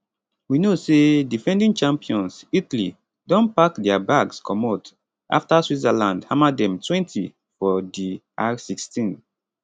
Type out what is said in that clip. we know say defending champions italy don pack dia bags comot afta switzerland hammer demtwentyfor di r16